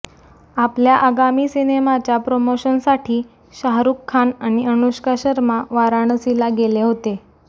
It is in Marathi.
आपल्या आगामी सिनेमाच्या प्रमोशनसाठी शाहरुख खान आणि अनुष्का शर्मा वाराणसीला गेले होते